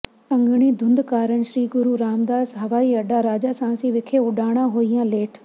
ਸੰਘਣੀ ਧੁੰਦ ਕਾਰਨ ਸ੍ਰੀ ਗੁਰੂ ਰਾਮਦਾਸ ਹਵਾਈ ਅੱਡਾ ਰਾਜਾਸਾਂਸੀ ਵਿਖੇ ਉਡਾਣਾਂ ਹੋਈਆਂ ਲੇਟ